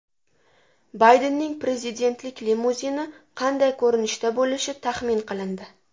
Baydenning prezidentlik limuzini qanday ko‘rinishda bo‘lishi taxmin qilindi.